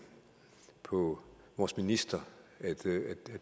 på vores minister at